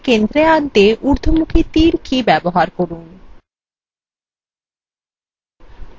এবার এগুলিকে centre আনতে উর্ধমুখী তীর কি ব্যবহার করুন